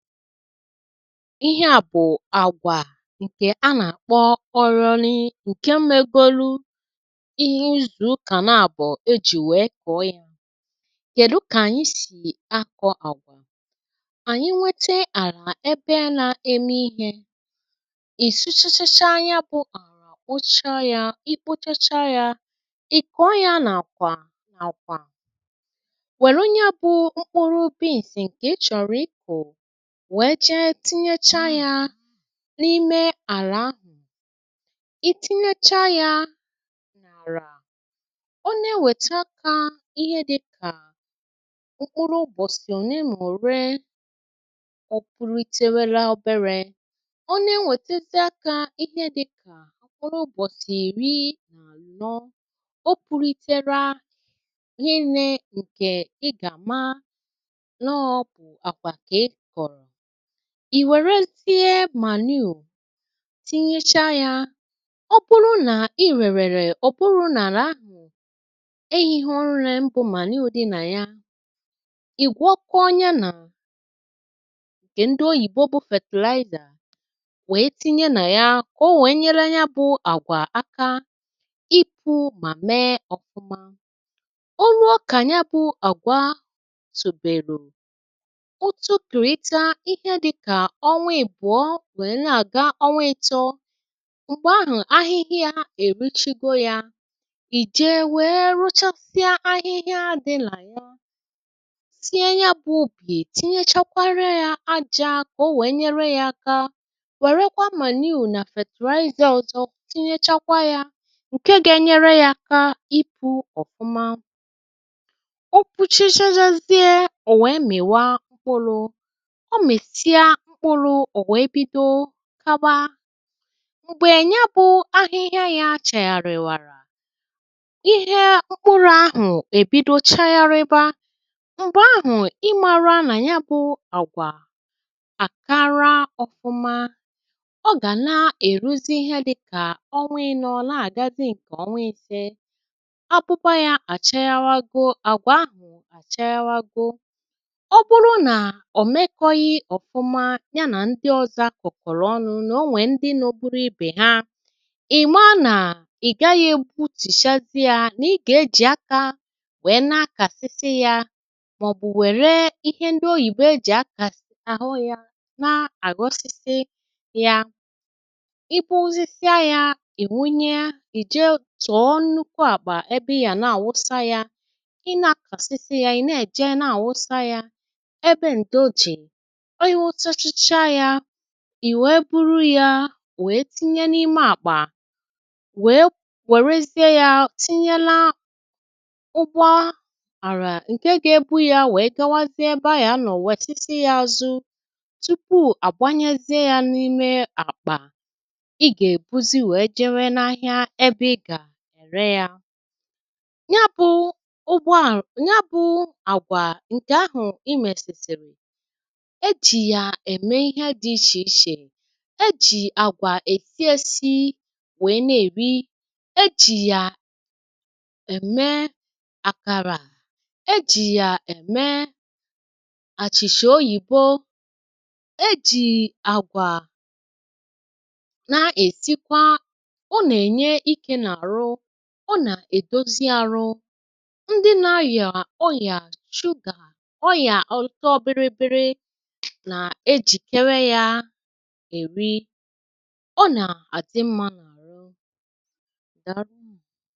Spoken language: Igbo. Ihe à bụ̀ àgwà ǹkè a nà-àkpọ ọronị̇ ǹkè megolu̇ ihe izù ukà na-àbọ̀ ejì wèe kọ̀ọ yȧ, kèdu kà ànyị sì akọ̇ àgwà?, ànyị nwete àlà ebe na-eme ihė ị̀suchachaa ya bụ ala kpocha ya ikpuchachaa yȧ, ị̀ kọ̀ọ ya n'àkwà nà akwà wèru nya bụ̇ mkpụrụ beans ǹkè ị chọ̀rọ̀ ikù wèe jee tinyecha yȧ n’ime àlà ahụ̀, i tinyecha yȧ n’àlà, ọ na-ewète akȧ ihe dị̇kà mkpụrụ ụgbọ̀sì òne mà òre, ọ punitėwėlȧ obere, ọ na-enwètezị akȧ ihe dị̇kà mkpụrụ ụgbọ̀sì ìri na anọ, o pụlitere rinnė ǹkè ị gà maa nọ àkwà kà ị kọ̀rọ̀, ì wèrezie manuu tinyecha yȧ, ọ bụrụ nà i rèrèrè ọ̀ bụrụ nà alà ahụ̀ ehiha nne mbụ manuu dị nà ya, ì gwọkọ nye nà ǹkè ndị oyìbo bụ fertilizer wèe tinye nà ya, ka o wèe nyere ya bụ àgwà aka ịpụ̇ mà mee ọfụma. Ọ ruo kà ya bụ àgwà tòbèro, otokirita ihe dịkà ọnwa àbụ̀ọ, nwèe na-àga onwa ị̀tọọ m̀gbè ahụ̀ ahịhịa èruchigo ya, ì jee nwee rụchasịa ahịhịa dịlà ya tinye ya bụ̀ ùbì tinyechakwarịa ya ajȧ kà o nwèe nyere ya aka, wèrekwa manuu nà fertilizer ọzọ tinyechakwa yȧ ǹke ga-enyere ya aka ipu̇ ọ̀fụma. O puchachazie, ò nwèe mị̀wa mkpụrụ, omisia mkpụrụ, ọ wee bido kaba, m̀gbè ya bụ̇ ahịhịa yȧ achàghàrị̀wàrà ihe mkpụrụ̇ ahụ̀ èbido chaghȧrịba, m̀gbè ahụ̀ ị mara nà ya bụ̇ àgwà àkara ọfụma, ọ gà na-èruzi ihe dị̇ kà ọnwa inọ̇ na -agazi nke onwa ise, akwụkwọ yà chaghabago, agwa ahu àchaghago, ọbụrụ na omekoghi ọfụma ya na ndị ọzọ akukọ̀rọ̀ ọnụ̇ nà onwè ndị nogburu ibè ha ì maà nà ì gaghị̇ egbutìchazị yȧ nà ị gà-ejì akȧ wèe nà-akàsịsị yȧ màọ̀bụ̀ wère ihe ndị oyìbo ejì akȧsi agho yȧ na-àghọsịsị ya, ị gbụ̇zịsịa yȧ, ị̀ wunye ì jee tọ̀ọ nnukwu àkpà ebe ịya-na àwụsa ya, i na-akàsịsị ya ị̀ na-èje na-àwụsa yȧ ebe ǹdo dị, ì wèe buru yȧ wèe tinye n’ime àkpà, wèe wèrezie yȧ tinyeela ụgbọ àrà ǹke gà-ebù yȧ wèe gawazie ebe a ya nọ̀ wèsisi yȧ azu̇ tupu àgbanyezie yȧ n’ime àkpà, ị gà-èbuzi wèe jewe n’ahịa ebe ị gà-ère yȧ, ya bụ̇ ụgbọ àlà, ya bụ àgwà ǹkè ahụ̀ imèsìsìrì, eji ya eme ihe dị iche iche, ejì àgwà èsịesi wèe na-èri, ejì yà ème àkàrà, ejì yà ème àchìcha oyìbo, ejì àgwà na-èsikwa ọ nà-ènye ikė n’àrụ, ọ nà-èdozi arụ, ndị nȧ-agà ọrị̀à chugà, ọrịa otobiribiri na ejikebe ya èri, ọ nà-àdi mmȧ n’àhụ, daalunu.